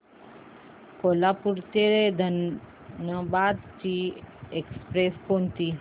कोल्हापूर ते धनबाद ची एक्स्प्रेस कोणती